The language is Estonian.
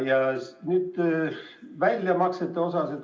Nüüd väljamaksetest.